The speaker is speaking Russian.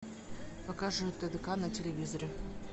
покажи тдк на телевизоре